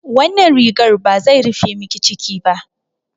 Wannan rigar ba zai rufe miki ciki ba.